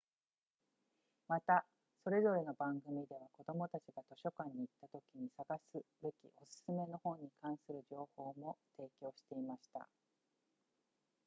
またそれぞれの番組では子どもたちが図書館に行ったときに探すべきお勧めの本に関する情報も提供していました